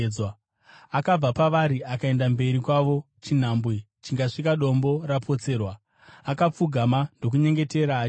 Akabva pavari akaenda mberi kwavo chinhambwe chingasvika dombo rapotserwa, akapfugama ndokunyengetera achiti,